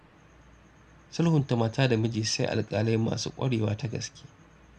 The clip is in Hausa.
Sulhunta mata da miji sai alƙalai masu ƙwarewa ta gaske.